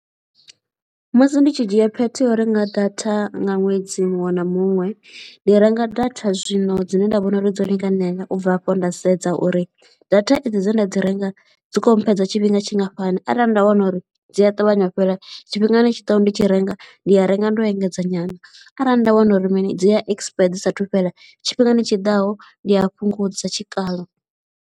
Musi ndi tshi dzhia phetho ya u renga data nga ṅwedzi muṅwe na muṅwe, ndi renga data zwino dzine nda vhona uri dzo linganela u bva afho nda sedza uri data edzi dze nda dzi renga dzi khou mphedza tshi tshifhinga tshingafhani arali nda wana uri dzi a ṱavhanya u fhela, tshifhingani tshi ḓaho ndi tshi renga ndi a renga ndo engedzea nyana arali nda wana uri mini dzi ya expire dzi saathu fhela, tshifhingani tshi ḓaho ndi a fhungudza tshikalo.